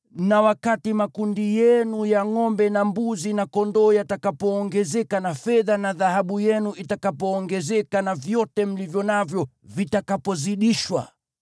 na wakati makundi yenu ya ngʼombe na mbuzi na kondoo yatakapoongezeka na fedha na dhahabu yenu itakapoongezeka na vyote mlivyo navyo vitakapozidishwa,